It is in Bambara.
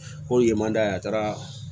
Ko yen man da a taara